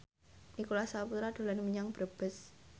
Nicholas Saputra dolan menyang Brebes